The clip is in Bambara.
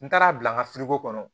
N taara a bila n ka kɔnɔ